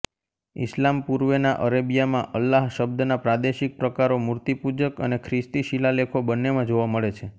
ઇસ્લામ પૂર્વેના અરેબીયામાં અલ્લાહ શબ્દના પ્રાદેશિક પ્રકારો મૂર્તિપૂજક અને ખ્રિસ્તી શિલાલેખો બંનેમાં જોવા મળે છે